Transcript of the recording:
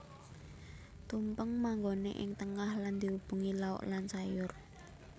Tumpeng manggoné ing tengah lan diubengi lauk lan sayur